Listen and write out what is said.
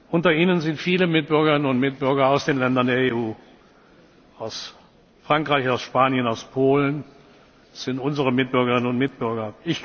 Unter ihnen sind viele Mitbürgerinnen und Mitbürger aus den Ländern der EU, aus Frankreich, aus Spanien, aus Polen das sind unsere Mitbürgerinnen und Mitbürger.